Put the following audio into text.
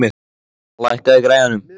Helma, lækkaðu í græjunum.